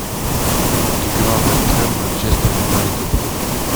игра вест хэм манчестер юнайтед